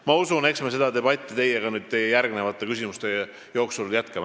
Ma usun, et eks me seda debatti teiega nüüd järgmiste küsimuste jooksul jätkame.